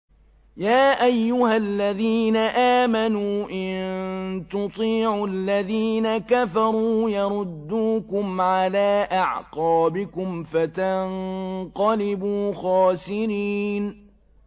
يَا أَيُّهَا الَّذِينَ آمَنُوا إِن تُطِيعُوا الَّذِينَ كَفَرُوا يَرُدُّوكُمْ عَلَىٰ أَعْقَابِكُمْ فَتَنقَلِبُوا خَاسِرِينَ